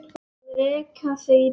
Að reka þig í burtu!